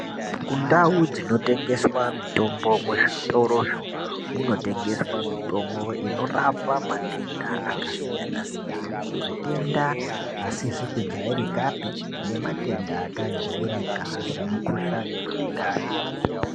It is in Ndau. Mundau dzinotengeswe mitombo muzvitoromo munotengeswa mitombo inorapa matenda akasiyana-siyana, matenda asizi kujairikape nematenda akajairika semukuhlani memundani.